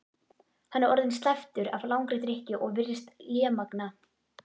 Hann er orðinn slæptur af langri drykkju og virðist lémagna.